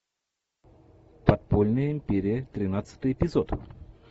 подпольная империя тринадцатый эпизод